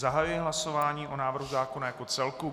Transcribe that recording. Zahajuji hlasování o návrhu zákona jako celku.